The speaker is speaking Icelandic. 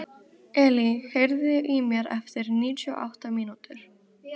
Elí, heyrðu í mér eftir níutíu og átta mínútur.